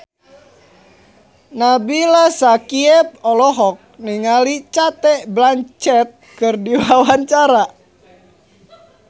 Nabila Syakieb olohok ningali Cate Blanchett keur diwawancara